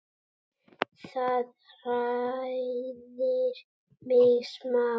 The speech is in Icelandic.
Það hræðir mig smá.